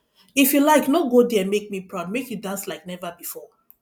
if you like no go there make me proud make you dance like never before